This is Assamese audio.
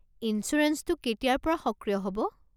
ইঞ্চুৰেঞ্চটো কেতিয়াৰ পৰা সক্ৰিয় হ'ব?